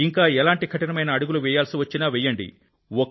ఇంకా ఎలాంటి కఠినమైన అడుగులు వేయాల్సివచ్చినా వేయండి